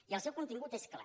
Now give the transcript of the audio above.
i el seu contingut és clar